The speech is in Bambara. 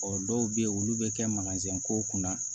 Ɔ dɔw bɛ yen olu bɛ kɛ kow kunna